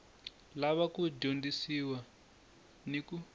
lava ku dyondzisiwa ni ku